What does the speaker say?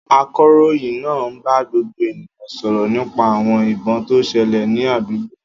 Akọ̀ròyìn naa n ba gbogbo eniyan soro nipa awon ibon to sele ni adugbo.